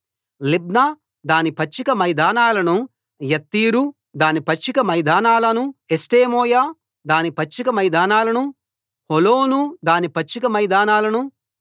లిబ్నా దాని పచ్చిక మైదానాలనూ యత్తీరు దాని పచ్చిక మైదానాలనూ ఎష్టేమోయ దాని పచ్చిక మైదానాలనూ హోలోను దాని పచ్చిక మైదానాలనూ